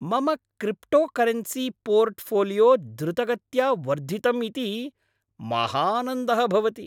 मम cryptocurrency portfolio द्रुतगत्या वर्धितम् इति महानन्दः भवति।